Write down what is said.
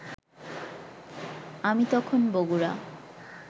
আমি তখন বগুড়া